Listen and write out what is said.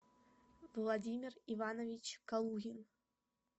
владимир иванович калугин